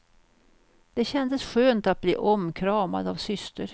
Det kändes skönt att bi omkramad av syster.